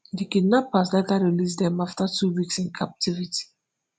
di kidnappers later release dem after two weeks in captivity.